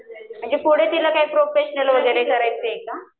म्हणजे पुढे तिला काय प्रोफेशनल वगैरे करायचं आहे का?